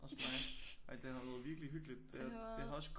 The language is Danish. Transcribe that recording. Også mig ej det har været virkeligt hyggeligt det har også